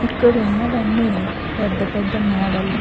ఇక్కడ ఉన్నవన్నీ పెద్ద పెద్ద మేడలు --